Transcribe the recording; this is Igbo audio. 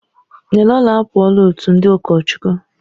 Nnelolo apụọla otu ndị ụkọchukwu.